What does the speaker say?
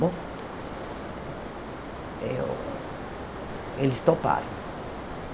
Bom, eu eles toparam.